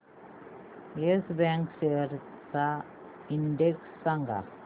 yes Bank shares चा index सांगा